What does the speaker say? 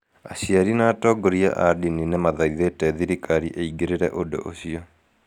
Aciari na atongoria a ndini nĩ maathaithĩte thirikari ĩgĩĩre ũndũ ũcio.